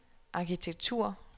arkitektur